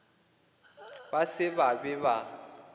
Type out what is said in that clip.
ba se ba be ba